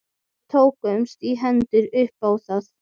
Við tókumst í hendur upp á það.